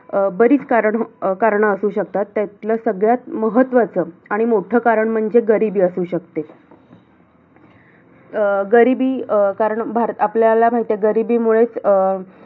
प्रत्येक गोष्ट त्याच्यात असं होतं की तिकडे आता वाचलं ना की नाय मला ह्याच्यापुढे पण वाचायचय ह्याच्यापुढे लगेच वाचायचं लगेच वाचायचं जवळजवळ दीड हजार पानांचे पुस्तक मी एकवीस दिवसात वाचलेल त्या वेळी.